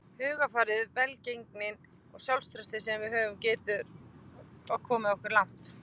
Hugarfarið, velgengnin og sjálfstraustið sem við höfum getur komið okkur langt.